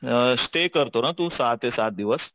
अ stay करतो ना तू सहा ते सात दिवस.